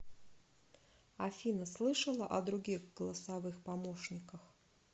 афина слышала о других голосовых помощниках